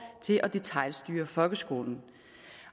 til at detailstyre folkeskolen